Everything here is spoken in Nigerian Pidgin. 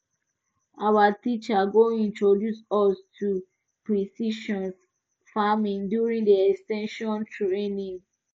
our teacher go introduce us to precision farming during the ex ten sion training